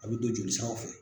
A bɛ don jolisiraw fɛ.